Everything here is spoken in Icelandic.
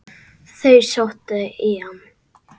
Þau sóttu í hann.